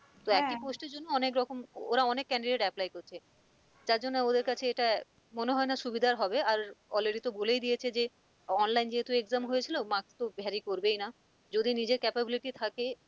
তো একই post এর জন্য অনেকরকম ওরা অনেক candidate apply করছে যার জন্য ওদেরকাছে এটা মনে হয় না সুবিধার হবে আর already বলেই দিয়েছে যে online যেহেতু exam হয়েছিল marks তো vary করবেই না যদি নিজের capability থাকে